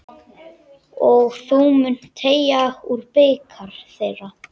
Og þú munt teyga úr bikar þeirra.